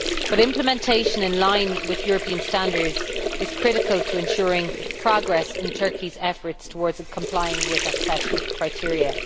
However, implementation in line with European standards is critical to ensuring progress in Turkey's efforts towards complying with the accession criteria.